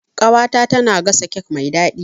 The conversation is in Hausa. Ƙawata tana gasa kek mai daɗi.